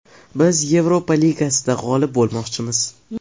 Biz Yevropa ligasida g‘olib bo‘lmoqchimiz.